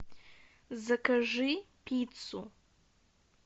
закажи пиццу